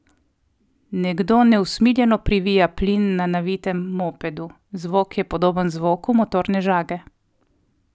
Nekdo neusmiljeno privija plin na navitem mopedu, zvok je podoben zvoku motorne žage.